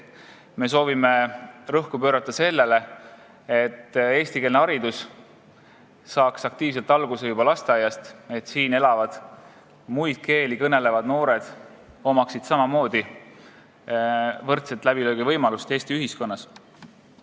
Me soovime rõhku panna sellele, et eestikeelne haridus saaks aktiivselt alguse juba lasteaiast, et siin elavatel muid keeli kõnelevatel noortel oleks samaoodi võimalus Eesti ühiskonnas läbi lüüa.